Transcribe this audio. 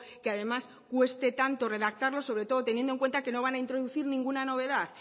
que además cueste tanto redactarlo sobre todo teniendo en cuenta que no van a introducir ninguna novedad